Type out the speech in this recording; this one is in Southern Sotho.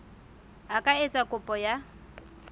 a ka etsa kopo ya